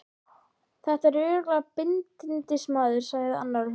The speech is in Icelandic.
Þetta er örugglega bindindismaður, sagði annar og hló.